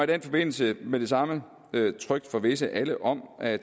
den forbindelse med det samme trygt forvisse alle om at